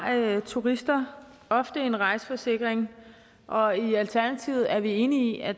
turister ofte en rejseforsikring og i alternativet er vi enige i at